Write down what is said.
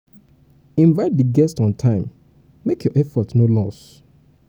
invite di guests on time make your effort no loss